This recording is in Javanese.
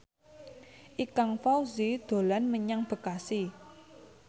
Ikang Fawzi dolan menyang Bekasi